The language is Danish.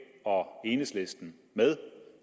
og enhedslisten med